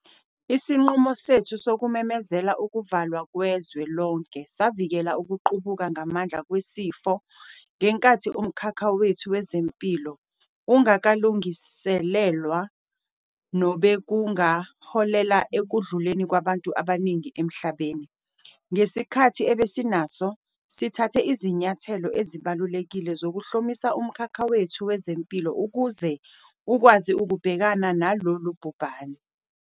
Isinqumo sethu sokumemezela ukuvalwa kwezwe lonke savikela ukuqubuka ngamandla kwesifo ngenkathi umkhakha wethu wezempilo ungakalungiselelwa, nobekungaholela ekudluleni kwabantu abaningi emhlabeni. Ngesikhathi ebesinaso, sithathe izinyathelo ezibalulekile zokuhlomisa umkhakha wethu wezempilo ukuze ukwazi ukubhekana nalolu bhubhane.